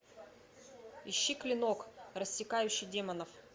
ищи клинок рассекающий демонов